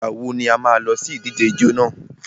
Ìgbà wo ni a má a lọ sí ìdíje ijó nà?